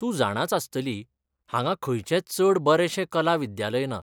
तूं जाणांच आसतली, हांगा खंयचेंच चड बरेंशें कला विद्यालय ना.